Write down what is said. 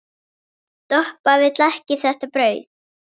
Doppa vill ekki þetta brauð.